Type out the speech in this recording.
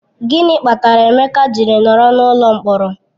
Gịnị kpatara Emeka ji nọrọ n'ụlọ mkpọrọ?